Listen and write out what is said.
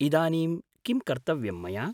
इदानीं किं कर्तव्यं मया?